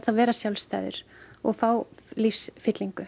vera sjálfstæður og fá lífsfyllingu